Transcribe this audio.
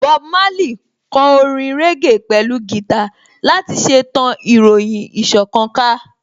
Bob Marley kò orin régè pẹ̀lú gìtá láti ṣe tan ìròyìn ìṣọ̀kan ká